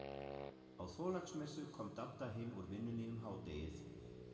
Á Þorláksmessu kom Dadda heim úr vinnunni um hádegið.